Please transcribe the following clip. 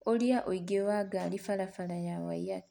ũrĩa ũingĩ wa ngari barabara ya Waiyaki